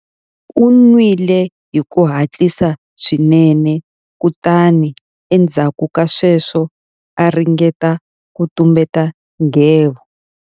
U nwile hi ku hatlisa swinene kutani endzhaku ka sweswo a ringeta ku tumbeta nghevo.